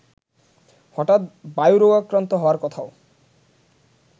হঠাৎ বায়ুরোগাক্রান্ত হওয়ার কথাও